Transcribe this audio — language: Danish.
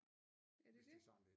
Er det det